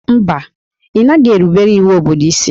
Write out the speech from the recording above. Mba, ị naghị erubere iwu obodo isi